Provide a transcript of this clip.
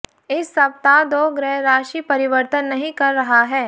इस सप्ताह दो ग्रह राशि परिवर्तन नहीं कर रहा है